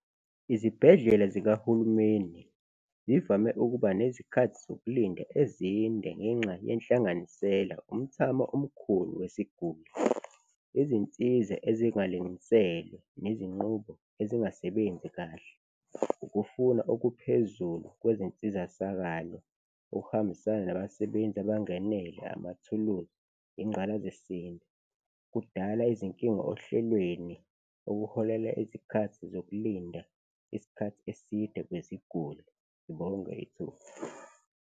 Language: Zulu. Izibhedlela zikahulumeni zivame ukuba nezikhathi zokulinda ezinde ngenxa yenhlanganisela, umthamo omkhulu wesiguli, izinsiza ezingalinganiselwe nezinqubo ezingasebenzi kahle, ukufuna okuphezulu kwezinsizasakalo okuhambisana nabasebenzi abangenele, amathuluzi, ingqalazisinda kudala izinkinga ohlelweni, okuholela izikhathi zokulinda isikhathi eside kweziguli. Ngibonge ithuba.